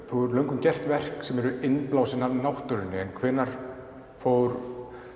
þú hefur löngum gert verk sem eru innblásin af náttúrunni en hvenær fór